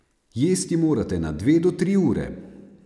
Jesti morate na dve do tri ure.